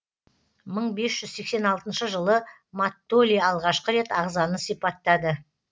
мың бес жүз сексен алтыншы жылы маттоли алғашқы рет ағзаны сипаттады